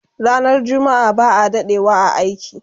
Ranar jumma'a ba'a dadewa a aiki